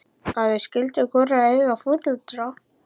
Að við skyldum hvorugt eiga foreldra.